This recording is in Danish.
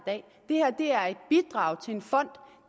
bidrag til en fond